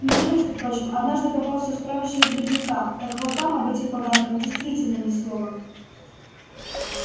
мне между прочим однажды попался справочник грибника так вот там об этих поганках действительно ни слова